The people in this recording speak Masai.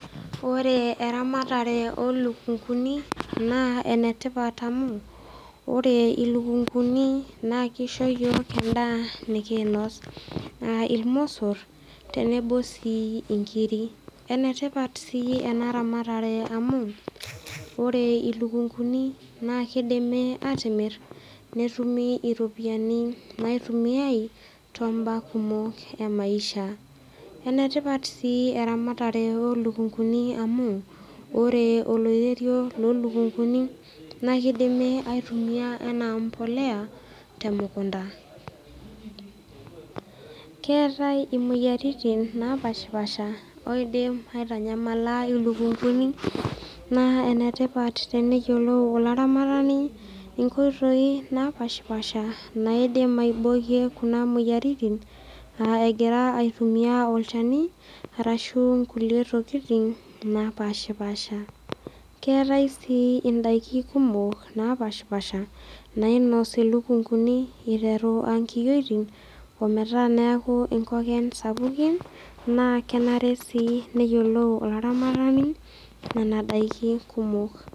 Ore eramatare olukunguni naa enetipat amu ore ilukungu ni naa kisho iyiok endaa nikinos aa irmosor tenebo sii inkir . Enetipat sii enaramatare amu ore ilukunguni naa kidimi atimir netumi iropiyiani naitumiay tombaa kumok emaisha . Enetipat sii eramatare olukunguni olukunguni amu ore oloirerio loo lukunguni naa kidimi aitumia anaa empolea temukunta . Keetae imoyiaritin napashapasha naidim aitanyamala ilukunguni naa enetipat teneyiolou olaramatani inkoitoi napashapasha naidim aibokie kuna moyiritin aa egira aitumia olchani arashu nkulie tokitin napashapasha naa ketae indaiki kumok napashapasha nainos ilukunguni interu aa nkiyiotin ometaa neaku nkoken sapukin naa kenare sii neyiolou oltungani nena daikin kumok.